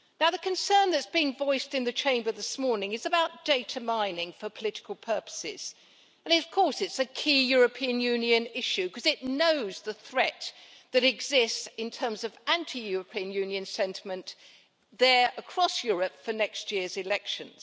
The concern that has been voiced in the Chamber this morning is about data mining for political purposes and, of course, it is a key European Union issue because it knows the threat that exists in terms of anti European Union sentiment there across Europe for next year's elections.